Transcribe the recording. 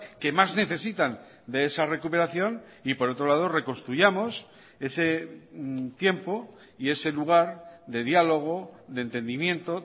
que más necesitan de esa recuperación y por otro lado reconstruyamos ese tiempo y ese lugar de diálogo de entendimiento